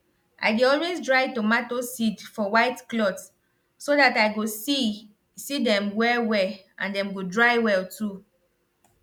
i dey always dry tomato seed for white cloth so that i go see see dem well well and dem go dry well too